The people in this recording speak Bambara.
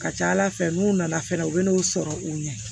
Ka ca ala fɛ n'u nana fɛnɛ u bɛ n'u sɔrɔ u ɲɛ